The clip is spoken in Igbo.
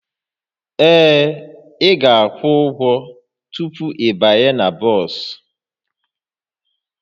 Ee, ị ga-akwụ ụgwọ tupu ịbanye na bọs